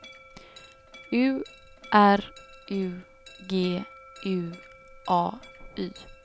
U R U G U A Y